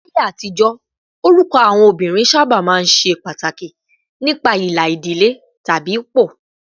Láyé àtijọ́, orúkọ àwọn obìnrin sábà máa ń ṣe pàtàkì nípa ìlà ìdílé tàbí ipò